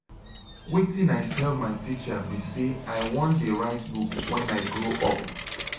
wetin i tell my teacher be say i wan dey write book wen i grow up.